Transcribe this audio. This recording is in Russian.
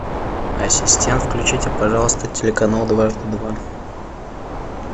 ассистент включите пожалуйста телеканал дважды два